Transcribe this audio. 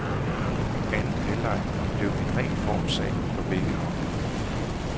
Anden halvleg blev en ren formssag for begge hold.